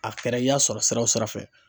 A kɛra i y'a sɔrɔ sira o sira fɛ.